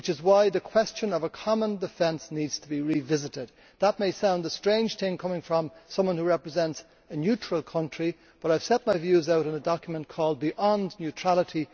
This is why the question of a common defence needs to be revisited. That may sound a strange thing coming from someone who represents a neutral country, but I have set my views out in a document called Beyond neutrality'.